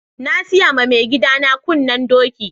Na siya ma maigida na kunnen doki.